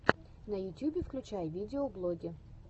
на ютьюбе включай видеоблоги